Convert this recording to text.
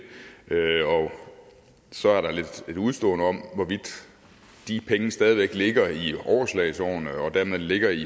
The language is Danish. og så er der et udestående om hvorvidt de penge stadig væk ligger i overslagsårene og dermed ligger i